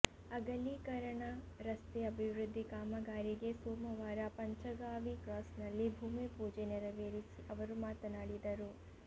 ಅಗಲೀಕರಣ ರಸ್ತೆ ಅಭಿವೃದ್ಧಿ ಕಾಮಗಾರಿಗೆ ಸೋಮವಾರ ಪಂಚಗಾಂವಿ ಕ್ರಾಸ್ನಲ್ಲಿ ಭೂಮಿ ಪೂಜೆ ನೇರವೆರಿಸಿ ಅವರು ಮಾತನಾಡಿದರು